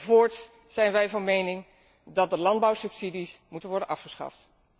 voorts zijn wij van mening dat de landbouwsubsidies moeten worden afgeschaft.